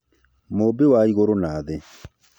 Mũmbi wa igũrũ na thĩ